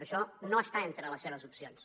això no està entre les seves opcions